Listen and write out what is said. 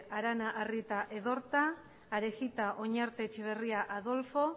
arana arrieta edorta arejita oñarte etxebarria adolfo